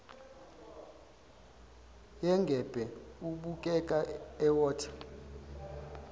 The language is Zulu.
yengebhe ubukeka ewotha